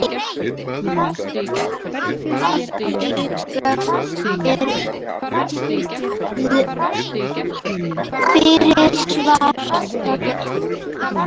Afríka er fyrir svart fólk.